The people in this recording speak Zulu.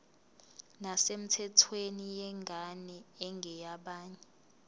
nesemthethweni yengane engeyabanye